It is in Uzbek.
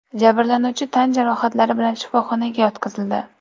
Jabrlanuvchi tan jarohatlari bilan shifoxonaga yotqizildi.